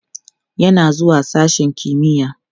yana zuwa sashen kimiya